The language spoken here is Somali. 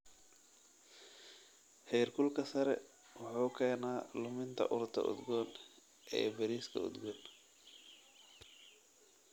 Heerkulka sare wuxuu keenaa luminta urta udgoon ee bariiska udgoon.